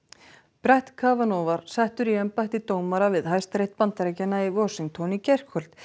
brett var settur í embætti dómara við Hæstarétt Bandaríkjanna í Washington í gærkvöld